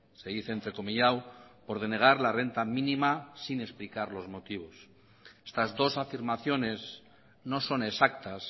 se dice entrecomillado por denegar la renta mínima sin explicar los motivos estas dos afirmaciones no son exactas